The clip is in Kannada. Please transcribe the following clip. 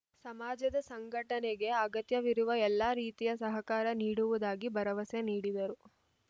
ಸಮಾಜದ ಸಂಘಟನೆಗೆ ಅಗತ್ಯವಿರುವ ಎಲ್ಲ ರೀತಿಯ ಸಹಕಾರ ನೀಡುವುದಾಗಿ ಭರವಸೆ ನೀಡಿದರು